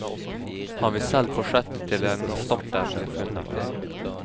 Han vil selv fortsette til en erstatter blir funnet.